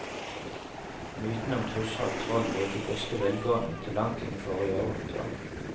Mytene om tusser og troll levde i beste velgående til langt inn i forrige århundre.